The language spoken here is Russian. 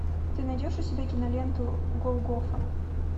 ты найдешь у себя киноленту голгофа